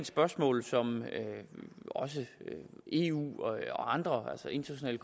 spørgsmål som også eu og andre altså internationale